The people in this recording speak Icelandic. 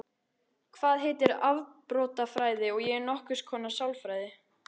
Það heitir afbrotafræði og er nokkurs konar sálfræði.